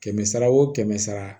Kɛmɛ sara wo kɛmɛ sara